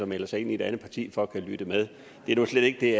melder sig ind i et andet parti for at kunne lytte med det er nu slet ikke det